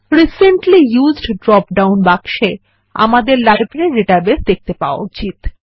recently used drop down বাক্সে আমাদের library database দেখতে পাওয়া উচিত